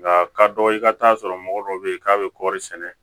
Nka ka dɔgɔ i ka taa sɔrɔ mɔgɔ dɔ bɛ yen k'a bɛ kɔɔri sɛnɛ